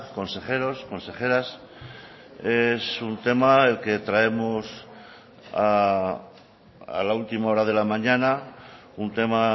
consejeros consejeras es un tema el que traemos a la última hora de la mañana un tema